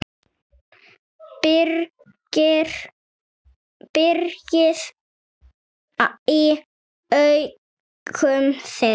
brigði í augum þeirra.